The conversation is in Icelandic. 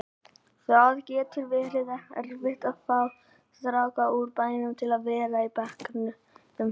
Það getur verið erfitt að fá stráka úr bænum til að vera á bekknum hér.